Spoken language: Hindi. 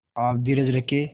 आप धीरज रखें